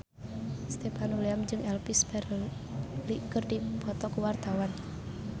Stefan William jeung Elvis Presley keur dipoto ku wartawan